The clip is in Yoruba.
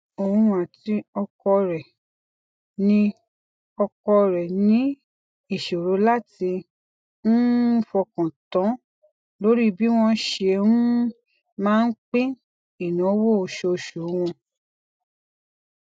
oun àti ọkọ rẹ ní ọkọ rẹ ní ìṣòro láti um fọkàn tán lórí bí wọn ṣe um máa pín ináwó oṣooṣu wọn